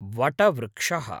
वटवृक्षः